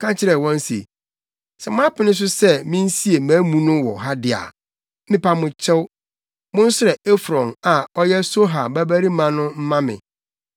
ka kyerɛɛ wɔn se, “Sɛ moapene so sɛ minsie mʼamu no wɔ ha de a, mepa mo kyɛw, monsrɛ Efron a ɔyɛ Sohar babarima no mma me,